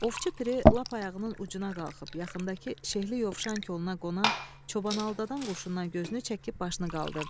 Ovçu Piri lap ayağının ucuna qalxıb yaxındakı şehli yovşan koluna qonan çobanaldadan quşundan gözünü çəkib başını qaldırdı.